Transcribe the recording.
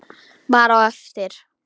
Bara á eftir.